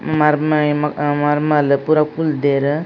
ಮರ್ಮಯೆ ಮ್ಹ್ ಮರ್ಮಲ್ ಪೂರ ಕುಲ್ದೆರ್.